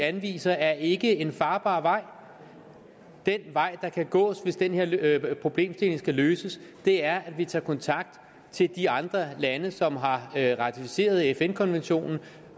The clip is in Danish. anviser er ikke en farbar vej den vej man kan gå hvis den her problemstilling skal løses er at vi tager kontakt til de andre lande som har ratificeret fn konventionen